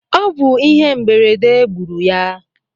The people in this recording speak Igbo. O bu ihe mberede gburu ya